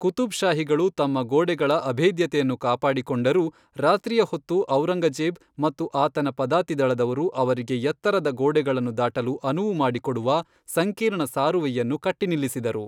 ಕುತುಬ್ಷಾಹಿಗಳು ತಮ್ಮ ಗೋಡೆಗಳ ಅಭೇದ್ಯತೆಯನ್ನು ಕಾಪಾಡಿಕೊಂಡರೂ, ರಾತ್ರಿಯ ಹೊತ್ತು ಔರಂಗಜೇಬ್ ಮತ್ತು ಆತನ ಪದಾತಿದಳದವರು ಅವರಿಗೆ ಎತ್ತರದ ಗೋಡೆಗಳನ್ನು ದಾಟಲು ಅನುವು ಮಾಡಿಕೊಡುವ ಸಂಕೀರ್ಣ ಸಾರುವೆಯನ್ನು ಕಟ್ಟಿನಿಲ್ಲಿಸಿದರು.